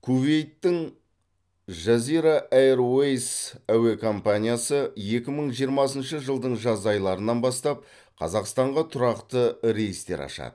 кувейттің жазира эйрвэйс әуе компаниясы екі мың жиырмасыншы жылдың жаз айларынан бастап қазақстанға тұрақты рейстер ашады